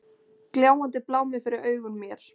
Gljáandi blámi fyrir augum mér.